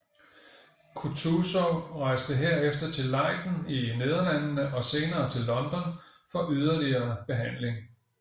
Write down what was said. Kutuzov rejste herefter til Leiden i Nederlandene og senere til London for yderligere behandling